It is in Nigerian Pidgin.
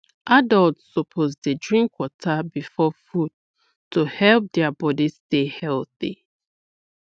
adults suppose dey drink water before food to help their body stay healthy